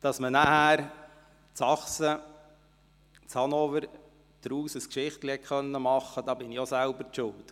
Daran, dass man danach in Hannover, in Sachsen, ein Geschichtlein erzählte, bin ich selbst schuld.